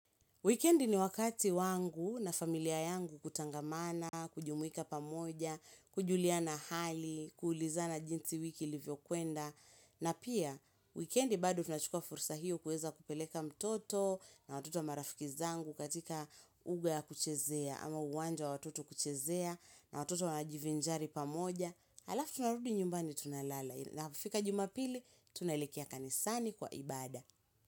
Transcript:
Wikendi ni wakati wangu na familia yangu kutangamana, kujumuika pamoja, kujuliana hali, kuulizana jinsi wiki ilivyo kwenda. Na pia, wikendi bado tunachukua fursa hiyo kueza kupeleka mtoto na watoto wa marafiki zangu katika uga ya kuchezea ama uwanja wa watoto kuchezea na watoto wanajivinjari pamoja. Alafu tunarudi nyumbani tunalala. Na kufika jumapili, tunalekea kanisani kwa ibada.